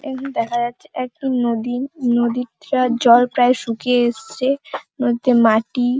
এখানে দেখা যাচ্ছে একটা নদী নদীটার জল প্রায় শুকিয়ে এসছে। নদীতে মাটি --